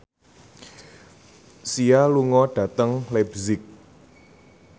Sia lunga dhateng leipzig